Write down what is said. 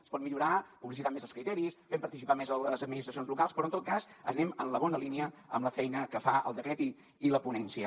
es pot millorar publicitant més els criteris fent participar més les administracions locals però en tot cas anem en la bona línia amb la feina que fa el decret i la ponència